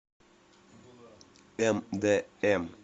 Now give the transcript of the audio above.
мдм